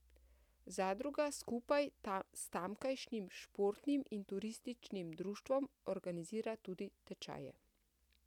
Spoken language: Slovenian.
Zadruga skupaj s tamkajšnjim športnim in turističnim društvom organizira tudi tečaje.